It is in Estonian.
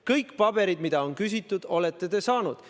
Kõik paberid, mida on küsitud, olete te saanud.